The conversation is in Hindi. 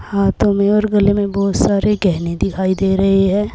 हाथों में और गले में बहोत सारे गहने दिखाई दे रहे है।